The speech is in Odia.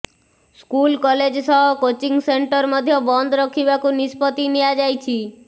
ସ୍କୁଲ କଲେଜ ସହ କୋଚିଂ ସେଣ୍ଟର ମଧ୍ୟ ବନ୍ଦ ରଖିବାକୁ ନିଷ୍ପତ୍ତି ନିଆଯାଇଛି